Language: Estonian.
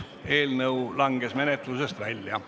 Eelnõu langes menetlusest välja.